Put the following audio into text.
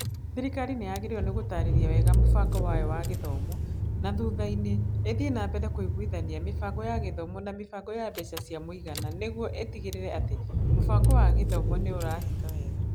Thirikari nĩ yagĩrĩirwo nĩ gũtaarĩria wega mũbango wayo wa gĩthomo, na thutha-inĩ, ĩthiĩ na mbere kũiguithania mĩbango ya gĩthomo na mĩbango ya mbeca cia mũigana nĩguo ĩtigĩrĩre atĩ mũbango wa gĩthomo nĩ ũrahinga wega.